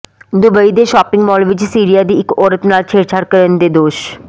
Dubai ਦੇ shopping mall ਵਿਚ Syria ਦੀ ਇਕ ਔਰਤ ਨਾਲ ਛੇੜਛਾੜ ਕਰਨ ਦੇ ਦੋਸ਼